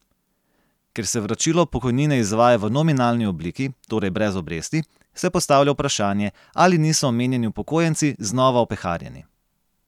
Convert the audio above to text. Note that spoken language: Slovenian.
Ker se vračilo pokojnine izvaja v nominalni obliki, torej brez obresti, se postavlja vprašanje, ali niso omenjeni upokojenci znova opeharjeni.